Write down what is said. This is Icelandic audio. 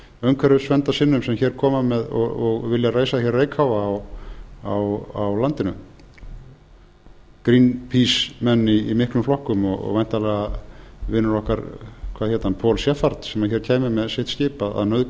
umhverfisverndarsinnum sem hér koma og vilja reisa hér reykháfa á landinu greenpeacemenn í miklum flokkum og væntanlega vinur okkur hvað hét hann paul sheppard sem hér kæmi með sitt